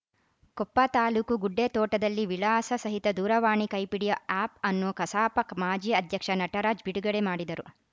ಕೊಪ್ಪ ತಾಲೂಕು ಗುಡ್ಡೆತೋಟದಲ್ಲಿ ವಿಳಾಸ ಸಹಿತ ದೂರವಾಣಿ ಕೈಪಿಡಿ ಆಪ್‌ಅನ್ನು ಕಸಾಪ ಮಾಜಿ ಅಧ್ಯಕ್ಷ ನಟರಾಜ್‌ ಬಿಡುಗಡೆ ಮಾಡಿದರು